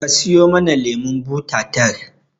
Ka siyo mana lemon buta tar